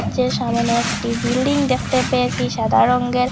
চে সামোনে একটি বিল্ডিং দেখতে পেয়েসি সাদা রংঙ্গের।